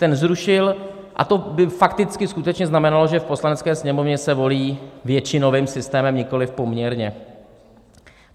Ten zrušil a to by fakticky skutečně znamenalo, že v Poslanecké sněmovně se volí většinovým systémem, nikoliv poměrně.